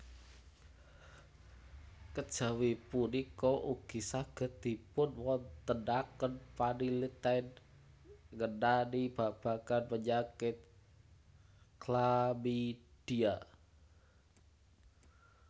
Kejawi punika ugi saged dipunwontenaken panaliten ngenani babagan penyakit chlamydia